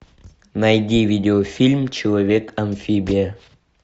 найди видеофильм человек амфибия